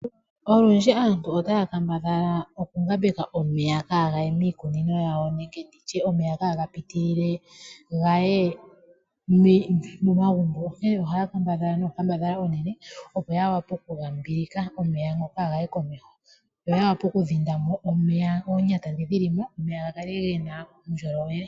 Olundji aantu otaya kambadhala okungambeka omeya kaagaye miikunino yawo, nenege nditye omeya kaagapitilile gaye momagumbo. Onkee ohaya kambadhala nee onkambadhala onene opo ya vule okumbilika omeya ngoka kaagaye komeho, yo yavule wo okudhinda omeya oonyata ndhoka dhi li mo, gakale ge na uundjolowele.